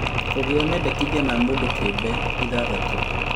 Kũgĩa mendekithia ma mũndũ kĩũmbe, ithathatũ